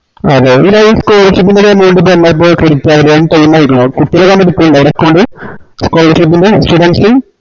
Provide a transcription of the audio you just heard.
അതെ പിന്നാ ഈ scholarship ൻറെ ഈ amount time ആയിക്കണോ കുട്ടികള് അവിടെ എടുക്ക്ണ്ണ്ടോ account scholarship ൻറെ students ന്